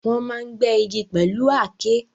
Wọ́n máa ń gbẹ́ igi pẹ̀lú Aké